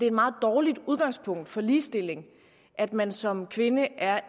et meget dårligt udgangspunkt for ligestilling at man som kvinde er